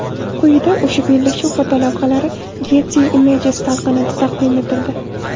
Quyida o‘sha bellashuv fotolavhalari Getty Images talqinida taqdim etildi.